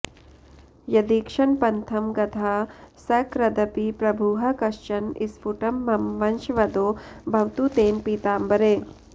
यदीक्षणपथं गतः सकृदपि प्रभुः कश्चन स्फुटं मम वशंवदो भवतु तेन पीताम्बरे